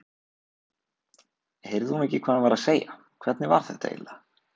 Heyrði hún ekki hvað hann var að segja, hvernig var þetta eiginlega?